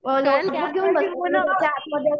आतमध्ये